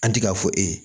An ti ka fɔ e ye